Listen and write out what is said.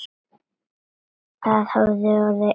Það hafa orðið einhver mistök!